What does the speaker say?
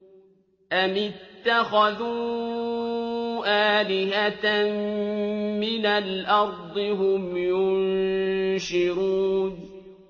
أَمِ اتَّخَذُوا آلِهَةً مِّنَ الْأَرْضِ هُمْ يُنشِرُونَ